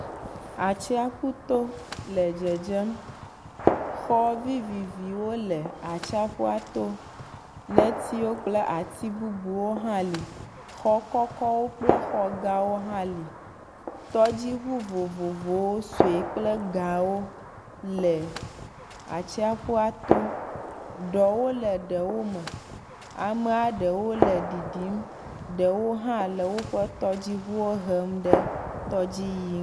Atsiaƒu to le dedzem. Xɔ viviviwo le atsiaƒua to. Netiwo kple ati bubuwo hã li. Xɔ kɔkɔwo kple xɔ gãwo li. Tɔdziŋu vovovowo suewo kple gã wo le atsiaƒua to. Ɖɔwo le ɖewo me. Amea ɖewo le ɖiɖim. Ɖewo hã le woƒe tɔdziŋua hem ɖe tɔdzi yiyi ŋ.